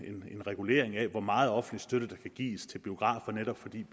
regulering af hvor meget offentlig støtte der kan gives til biografer netop fordi